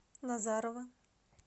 назарово